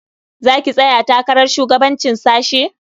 Za ki tsaya takarar shugabancin sashe?